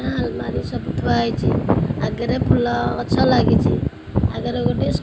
ଆଁ ଆଲମାରୀ ସବୁ ଥୁଆ ହେଇଚି ଆଗେରେ ଗୋଟେ ଫୁଲ ଗଛ ଲାଗିଚି ଆଗରେ ଗୋଟେ--